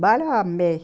Bale eu amei.